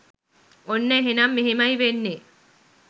ඔන්න එහෙනම් මෙහෙමයි වෙන්නේ